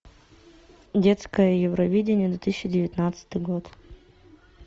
детское евровидение две тысячи девятнадцатый год